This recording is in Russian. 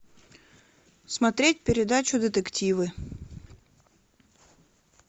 смотреть передачу детективы